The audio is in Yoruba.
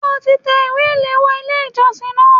Ṣé o ti tẹ ìwé ìléwọ́ Ilé ìjọsìn náà?